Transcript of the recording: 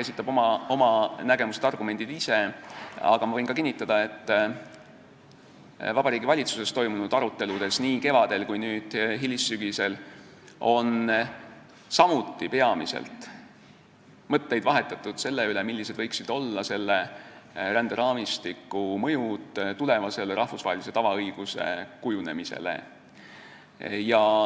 esitab oma nägemused ja argumendid kindlasti ise, aga ma võin kinnitada, et Vabariigi Valitsuses nii kevadel kui ka nüüd hilissügisel toimunud aruteludel on mõtteid vahetatud samuti peamiselt selle üle, milline võiks olla selle ränderaamistiku mõju tulevasele rahvusvahelise tavaõiguse kujunemisele.